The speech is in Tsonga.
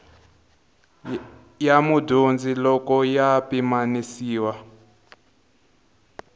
ya mudyondzi loko ya pimanisiwa